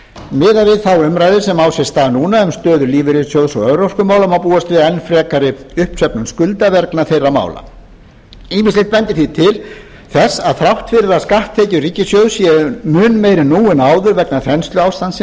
miðað við þá umræðu sem á sér stað núna um stöðu lífeyris og örorkumála má búast við enn frekari uppsöfnun skulda vegna þeirra mála ýmislegt bendir því til þess að þrátt fyrir að skatttekjur ríkissjóðs séu mun meiri nú en áður vegna